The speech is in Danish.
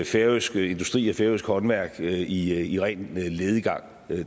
færøsk industri og færøsk håndværk i i ren lediggang